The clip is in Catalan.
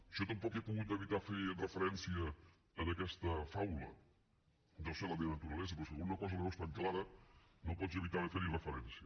jo tampoc he pogut evitar fer referència a aquesta faula deu ser la meva naturalesa però si alguna cosa la veus tan clara no pots evitar de fer hi referència